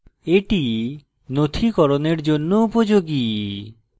এটি নথিকরণের জন্য উপযোগী